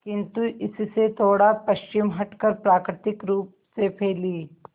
किंतु इससे थोड़ा पश्चिम हटकर प्राकृतिक रूप से फैली